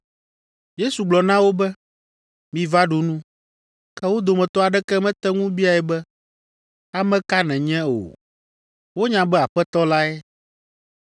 Yesu gblɔ na wo be, “Miva ɖu nu.” Ke wo dometɔ aɖeke mete ŋu biae be, “Ame ka nènye” o. Wonya be Aƒetɔ lae.